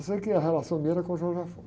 Eu sei que a relação minha era com o.